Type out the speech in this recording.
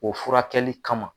O furakɛli kama.